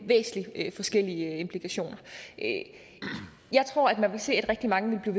væsentligt forskellige implikationer jeg tror at rigtig mange vil